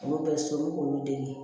Olu bɛ solu k'olu dege